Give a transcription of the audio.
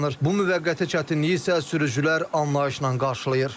Bu müvəqqəti çətinliyi isə sürücülər anlayışla qarşılayır.